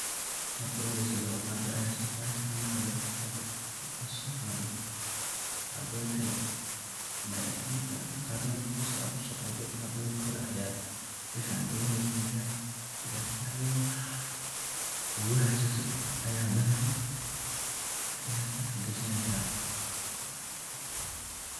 Marki ugu horeysay away Qadka Aya soqatheysah, mesha marka awaqada maraka soqadoh qadathn marka hosta kusoqatoh tan Kori Aya sufican ugu hakajineysah marka igu haystoh Aya handanah Aya afgajaneysah.